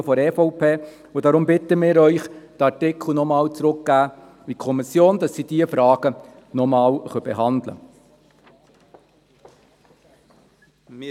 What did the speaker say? Deshalb bitten wir Sie, diesen Artikel noch einmal in die Kommission zurückzugeben, damit sie diese Frage noch einmal behandeln kann.